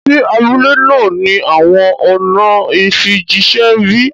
Ṣé abúlẹ̀ náà ni awọn ọ̀nà ìfíjìṣẹ̀ bí?